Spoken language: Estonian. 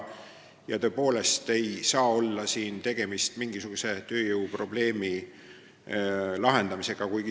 Ja tõepoolest ei ole siin tegemist püüdega lahendada mingisugust tööjõuprobleemi.